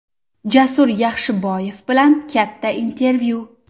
Jasur Yaxshiboyev bilan katta intervyu !